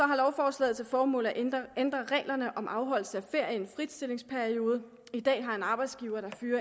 har lovforslaget til formål at ændre ændre reglerne om afholdelse af ferie i en fritstillingsperiode i dag har en arbejdsgiver der fyrer